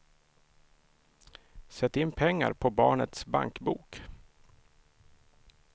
Sätt in pengar på barnets bankbok.